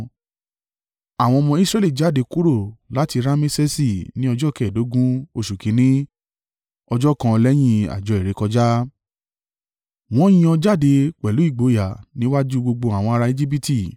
Àwọn ọmọ Israẹli jáde kúrò láti Ramesesi ní ọjọ́ kẹ́ẹ̀dógún oṣù kìn-ín-ní, ọjọ́ kan lẹ́yìn àjọ ìrékọjá. Wọ́n yan jáde pẹ̀lú ìgboyà níwájú gbogbo àwọn ará Ejibiti.